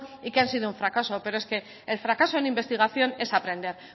y que han sido un fracaso pero es que el fracaso en investigación es aprender